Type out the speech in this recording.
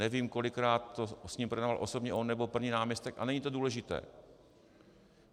Nevím, kolikrát to s ním projednával osobně on nebo první náměstek, a není to důležité.